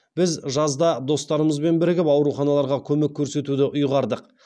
біз жазда достарымызбен бірігіп ауруханаларға көмек көрсетуді ұйғардық